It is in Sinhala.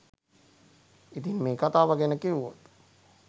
ඉතින් මේ කතාව ගැන කිව්වොත්